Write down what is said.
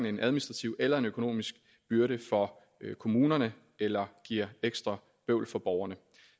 en administrativ eller en økonomisk byrde for kommunerne eller giver ekstra bøvl for borgerne